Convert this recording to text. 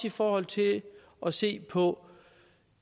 i forhold til at se på